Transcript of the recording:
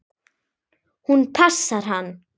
Hún passar hann!